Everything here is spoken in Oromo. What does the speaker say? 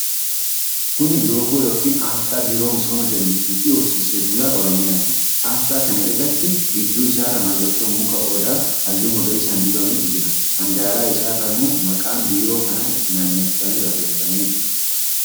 Kuni loogoo yookiin asxaa Biiroo Misooma jallisii fi Horsiisee Bulaa Oromiyaati. Asxaa kana irratti gidduu isaarra mallattoo muka Odaa halluu magariisaan dibametu jira. handaara isarrammoo maqaan biiroo kanaa itti naanneffamee barreeffamee argama.